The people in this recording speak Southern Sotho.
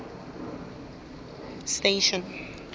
station